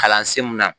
Kalansen mun na